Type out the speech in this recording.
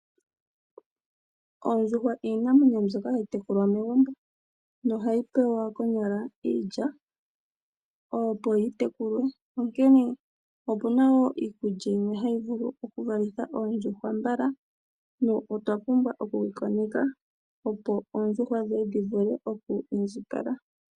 Oondjuhwa iinamwenyo mbyoka hayi tekulwa megumbo nohayi pewa konyala iilya opo dhi tekulwe , onkene opuna wo iikulya mbyono hayi vulu okuvalitha oondjuhwa mbala. Otwa pumbwa okudhi koneka opo oondjuhwa dhivule okwiindjipala.